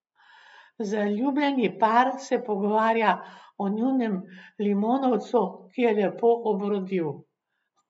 Zaljubljeni par se pogovarja o njunem limonovcu, ki je lepo obrodil.